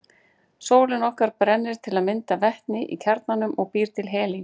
Sólin okkar brennir til að mynda vetni í kjarnanum og býr til helín.